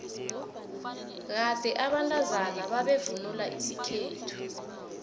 kade abantazana bebavvnula isikhethu